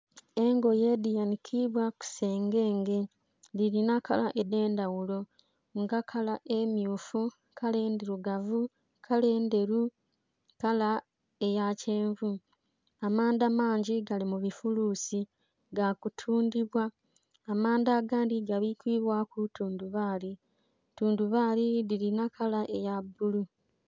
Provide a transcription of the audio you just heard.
Engoye dhanhikibwa kusengenge dhirinha kala edhendhaghulo nga kala emmyufu, kala endhirugavu, kala endheru, kala eyakyenvu. Amandha mangi gali mubifulusi gakutundhibwa, amandha agandhi gabikibwaku thundhubali, thundhubali dhirinha kala eya bbululu.